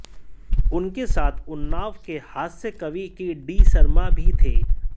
उनके साथ उन्नाव के हास्य कवि के डी शर्मा भी थे